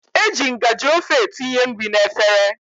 E ji ngajị ofe etinye nri n'efere.